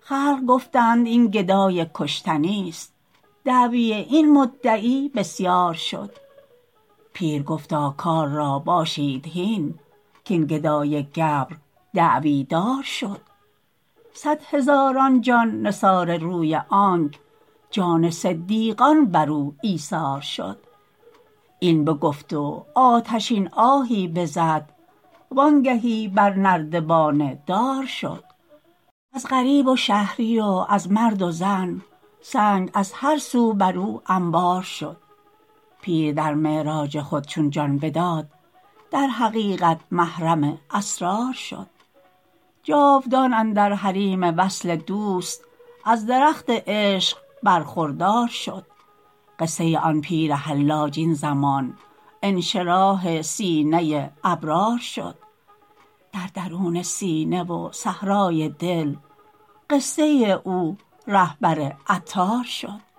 خلق گفتند این گدایی کشتنی است دعوی این مدعی بسیار شد پیر گفتا کار را باشید هین کین گدای گبر دعوی دار شد صد هزاران جان نثار روی آنک جان صدیقان برو ایثار شد این بگفت و آتشین آهی بزد وانگهی بر نردبان دار شد از غریب و شهری و از مرد و زن سنگ از هر سو برو انبار شد پیر در معراج خود چون جان بداد در حقیقت محرم اسرار شد جاودان اندر حریم وصل دوست از درخت عشق برخوردار شد قصه آن پیر حلاج این زمان انشراح سینه ابرار شد در درون سینه و صحرای دل قصه او رهبر عطار شد